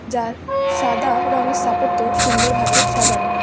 যার সাদা রঙের স্থাপত্য সুন্দরভাবে সাজানো।